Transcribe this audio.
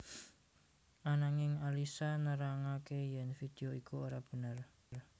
Ananging Alyssa nerangaké yèn vidéo iku ora bener